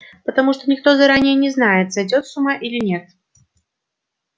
потому что никто заранее не знает сойдёт с ума или нет